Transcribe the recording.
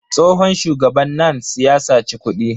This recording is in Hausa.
Tsohon shugaban NANS ya saci kuɗi.